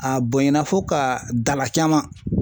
A bonyana fo ka dala caman.